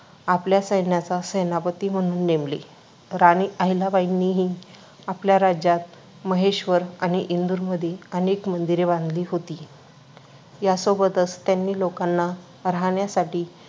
आपल्या सैन्याचा सेनापती म्हणून नेमले. राणी अहिल्याबाईंनीही आपल्या राज्यात महेश्वर आणि इंदूरमध्ये अनेक मंदिरे बांधली होती. यासोबतच त्यांनी लोकांना राहण्यासाठी